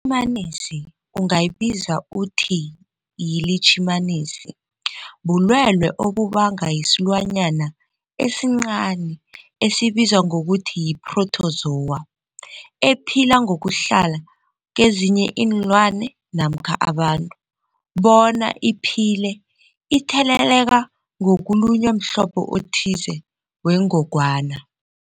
ILitjhimanisi ungayibiza uthiyilitjhimanisi, bulwelwe obubangwa silwanyana esincani esibizwa ngokuthiyi-phrotozowa ephila ngokuhlala kezinye iinlwana namkha abantu bona iphile itheleleka ngokulunywa mhlobo othize wengogwana.